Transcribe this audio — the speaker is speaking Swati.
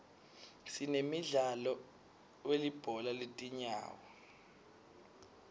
sinemdlalo welibhola letinyawo